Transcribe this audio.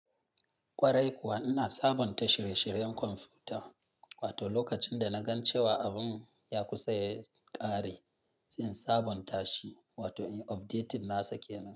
Kwarai kuwa ina sabonta shirye-shiryen kwamfuta, wato lokacin da na gan cewa abun ya kusa ya ƙare, zan sabonta shi wato in update nasa ke nan.